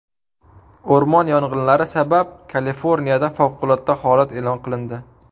O‘rmon yong‘inlari sabab Kaliforniyada favqulodda holat e’lon qilindi.